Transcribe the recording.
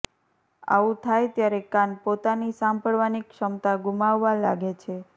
આવું થાય ત્યારે કાન પોતાની સાંભળવાની ક્ષમતા ગુમાવવા લાગે છે